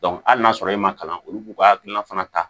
hali n'a sɔrɔ i ma kalan olu b'u ka hakilina fana ta